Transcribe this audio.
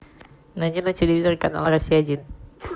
найди на телевизоре канал россия один